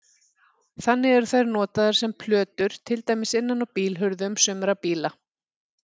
Þannig eru þær notaðar sem plötur til dæmis innan á bílhurðum sumra bíla.